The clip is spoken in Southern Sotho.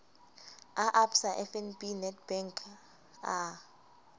a absa fnb nedbank a